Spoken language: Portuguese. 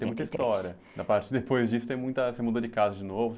Tem muita história, depois disso, você mudou de casa de novo?